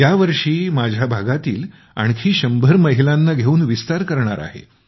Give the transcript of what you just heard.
यावर्षी आणखी माझ्या भागातील शंभर महिलांना घेऊन विस्तार करणार आहे